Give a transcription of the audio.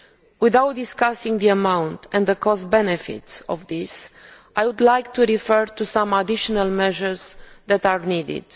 Without discussing the amounts and the cost benefit of this, I would like to refer to some additional measures that are needed.